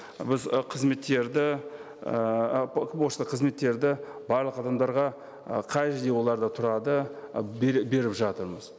біз ы қызметтерді ііі пошта қызметтерді барлық адамдарға ы қай жерде олар да тұрады і беріп жатырмыз